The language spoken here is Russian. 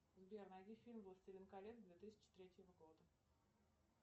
сбер найди фильм властелин колец две тысячи третьего года